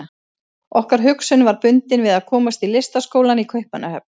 Okkar hugsun var bundin við að komast í Listaskólann í Kaupmannahöfn.